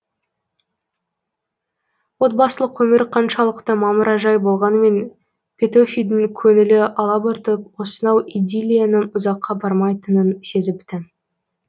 отбасылық өмір қаншалықты мамыражай болғанмен петөфидің көңілі алабұртып осынау идиллияның ұзаққа бармайтынын сезіпті